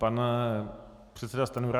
Pan předseda Stanjura.